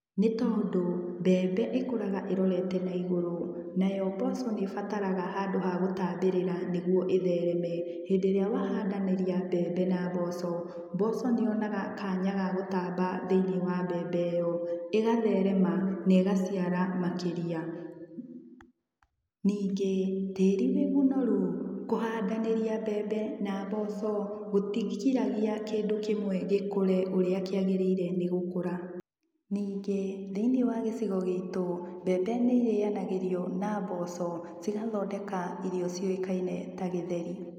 Nĩtondũ mbembe ĩkũraga ĩrorete na igũrũ, nayo mboco nĩibataraga handũ ha gũtambĩrĩra nĩguo ĩthereme. Hĩndĩ ĩria wahandanĩria mbembe na mboco, mboco nĩyonaga kanya ga gũtamba thĩini wa mbembe ĩyo ĩgatherema na ĩgaciara makĩria. Ningĩ, tĩri wĩ mũnoru, kũhandanĩria mbembe na mboco, gutigiragia kĩndũ kĩmwe gĩkũre ũrĩa kĩagĩrĩire nĩ gũkũra. Ningĩ thĩinĩ wa gĩcigo gitũ, mbembe nĩ irĩanagĩrio na mboco cigathondeka irio ciũĩkaine ta gĩtheri.